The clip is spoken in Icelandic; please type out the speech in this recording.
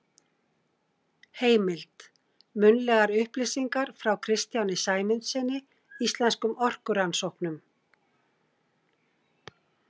Heimild: Munnlegar upplýsingar frá Kristjáni Sæmundssyni, Íslenskum orkurannsóknum.